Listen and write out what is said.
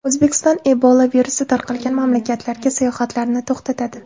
O‘zbekiston Ebola virusi tarqalgan mamlakatlarga sayohatlarni to‘xtatadi.